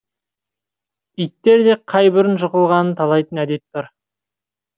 иттерде қай бұрын жығылғанын талайтын әдет бар